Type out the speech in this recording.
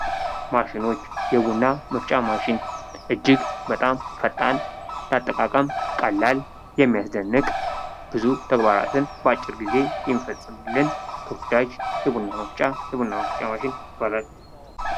ማሺኖች የቡና መፍጫ ማሽን እጅግ በጣም ፈጣን ለአጠቃቀም ቀላል የሚያስደንቅ ብዙ ተግባራትን በአጭር ጊዜ የሚፈጸምልን ተወዳጅ የቡና መፍጫ የቡና መፍጫ ማሽን ይባላል::